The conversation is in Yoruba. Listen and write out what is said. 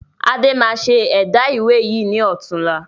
Adé máa ṣe ẹ̀dá ìwé yìí ni ọ̀tunla.